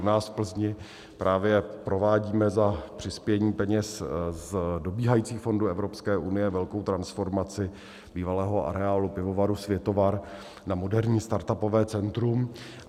U nás v Plzni právě provádíme za přispění peněz z dobíhajících fondů Evropské unie velkou transformaci bývalého areálu pivovaru Světovar na moderní startupové centrum.